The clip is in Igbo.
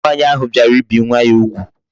Nwaanyi ahu biara ibi nwa ya ugwu